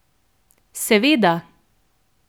Seveda.